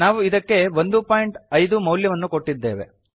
ನಾವು ಇದಕ್ಕೆ 15 ಮೌಲ್ಯವನ್ನು ಕೊಟ್ಟಿದ್ದೇವೆ